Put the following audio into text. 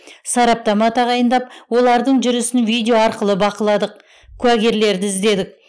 сараптама тағайындап олардың жүрісін видео арқылы бақыладық куәгерлерді іздедік